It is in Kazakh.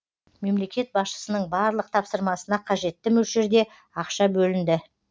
мемлекет басшысының барлық тапсырмасына қажетті мөлшерде ақша бөлінді